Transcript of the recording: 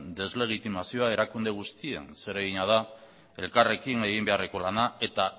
deslegitimazio erakunde guztien zeregina da elkarrekin egin beharreko lana eta